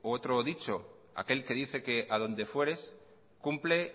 otro dicho aquel que dice que adonde fueres cumple